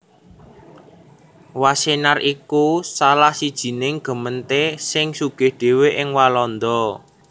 Wassenaar iku salah sijining gemeente sing sugih dhéwé ing Walanda